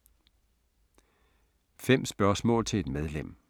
5 spørgsmål til et medlem